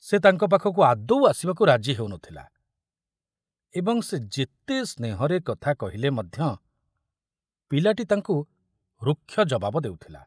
ସେ ତାଙ୍କ ପାଖକୁ ଆଦୌ ଆସିବାକୁ ରାଜି ହେଉ ନଥିଲା ଏବଂ ସେ ଯେତେ ସ୍ନେହରେ କଥା କହିଲେ ମଧ୍ୟ ପିଲାଟି ତାଙ୍କୁ ରୁକ୍ଷ ଜବାବ ଦେଉଥିଲା।